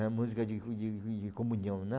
É a música de co de co de comunhão, né?